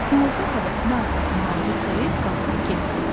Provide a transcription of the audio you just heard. Yumurta səbətini arxasına aldı ki, qalxıb getsin.